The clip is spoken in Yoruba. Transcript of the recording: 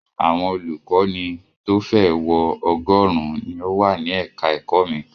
Àwọn olùkọ́ní tó fẹ́ ẹ̀ wọ ọgọ́rùn-ún ni ó wà ní ẹ̀ka-ẹ̀kọ́ mi.